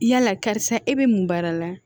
Yala karisa e bɛ mun baara la